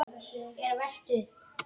er velt upp.